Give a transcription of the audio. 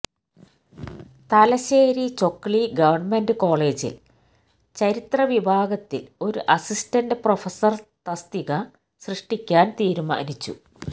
Thalassery Chokli government കോളേജില് ചരിത്രവിഭാഗത്തില് ഒരു അസിസ്റ്റന്റ് പ്രൊഫസര് തസ്തിക സൃഷ്ടിക്കാന് തീരുമാനിച്ചു